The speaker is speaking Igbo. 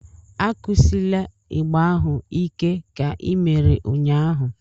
Akụsila ịgbà ahu ike ka i mere ụnyahụ!